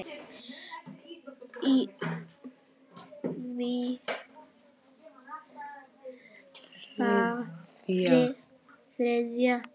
í því þriðja.